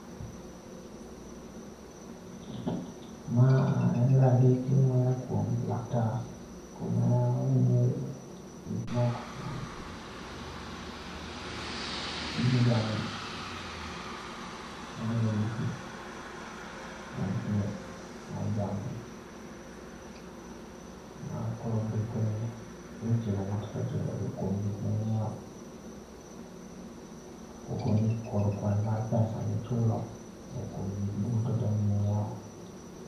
Ma en randiki ma oya kuom laktar kuma onyiewe gik moko mag gige jamni .Ma oya dukni mag thieth mag jamni. Ma koro ondiko ni weche matindo tindo kuom gik ma inyiewo, ka ogoni kod kwan mag pesa mi ichulo kuom gik moko duto ma inyiewo.